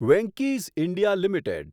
Venky's India limited